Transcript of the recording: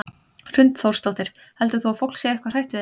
Hrund Þórsdóttir: Heldur þú að fólk sé eitthvað hrætt við þetta?